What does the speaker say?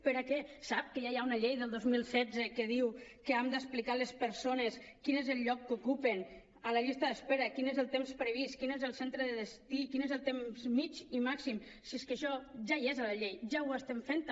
per a què sap que ja hi ha una llei del dos mil setze que diu que hem d’explicar a les persones quin és el lloc que ocupen a la llista d’espera i quin és el temps previst quin és el centre de destí quin és el temps mitjà i màxim si és que això ja hi és a la llei ja ho estem fent també